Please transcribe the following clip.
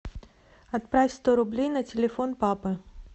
отправь сто рублей на телефон папы